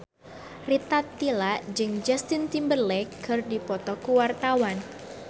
Rita Tila jeung Justin Timberlake keur dipoto ku wartawan